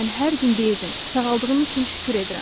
Mən hər gün deyirdim: sağaldığım üçün şükür edirəm.